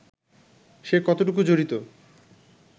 সে কতটুকু জড়িত